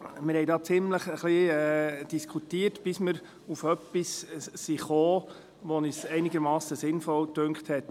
Wir diskutierten ziemlich intensiv darüber, bis wir auf etwas kamen, das uns einigermassen sinnvoll erschien.